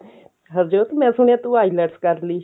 ਹਰਜੋਤ ਮੈਂ ਸੁਣਿਆ ਤੂੰ ILETS ਕਰਲੀ